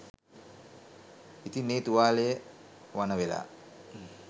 ඉතින් ඒ තුවාලය වණ වෙලා